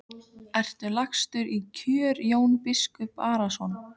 Ertu lagstur í kör Jón biskup Arason?